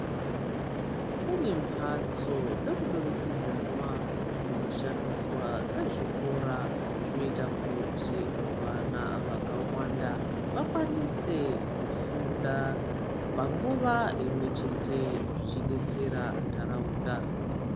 Kune mbatso dzemudurikidzanwa dzinoshandiswa sezvikora zvinoita kuti vana vakawanda vakwanise kufunda panguwa imwe chete zvichibetsera ndharaunda.